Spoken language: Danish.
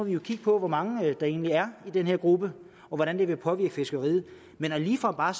kigge på hvor mange der egentlig er i den her gruppe og hvordan det vil påvirke fiskeriet men ligefrem bare